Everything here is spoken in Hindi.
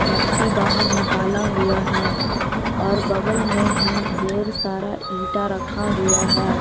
मट्टी बाहर निकाला हुआ हैं और बगल में ही ढेर सारा ईटा रखा हुआ हैं।